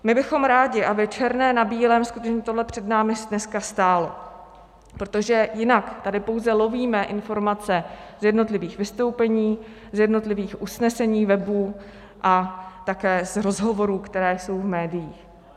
My bychom rádi, aby černé na bílém skutečně tohle před námi dneska stálo, protože jinak tady pouze lovíme informace z jednotlivých vystoupení, z jednotlivých usnesení, webů a také z rozhovorů, které jsou v médiích.